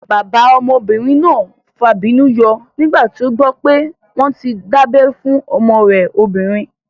Bàbá ọmọbìnrin náà fàbínú yọ nígbà tí ó gbọ́ pé wọ́n tí dábẹ́ fún ọmọ rẹ̀ obìnrin